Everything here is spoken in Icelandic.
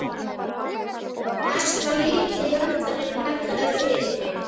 Næst var litli höndlarinn kallaður fyrir.